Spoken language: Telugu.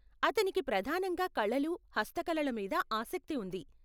అతనికి ప్రధానంగా కళలు, హస్తకళల మీద ఆసక్తి ఉంది.